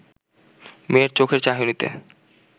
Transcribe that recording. মেয়ের চোখের চাহনিতে